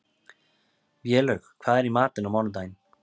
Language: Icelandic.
Vélaug, hvað er í matinn á mánudaginn?